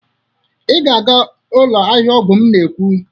Ị ga-aga ụlọ ahịa ọgwụ m na-ekwu!